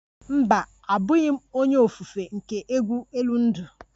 Mba, abughi m onye ofufe nke egwu elu ndụ